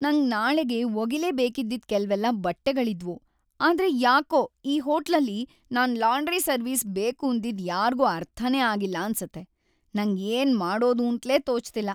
ನಂಗ್‌ ನಾಳೆಗೆ ಒಗಿಲೇಬೇಕಿದ್ದಿದ್ ಕೆಲ್ವೆಲ್ಲ ಬಟ್ಟೆಗಳಿದ್ವು, ಆದ್ರೆ ಯಾಕೋ ಈ ಹೋಟ್ಲಲ್ಲಿ ನಾನ್‌ ಲಾಂಡ್ರಿ ಸರ್ವಿಸ್‌ ಬೇಕೂಂದಿದ್ದು ಯಾರ್ಗೂ ಅರ್ಥನೇ ಆಗಿಲ್ಲ ಅನ್ಸತ್ತೆ, ನಂಗ್‌ ಏನ್‌ ಮಾಡೋದೂಂತ್ಲೇ ತೋಚ್ತಿಲ್ಲ.